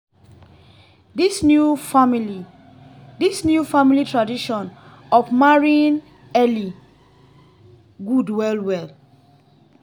this new family this new family tradition of marrying early good well well